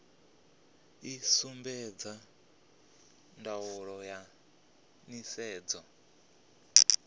i sumbedza ndaulo ya nisedzo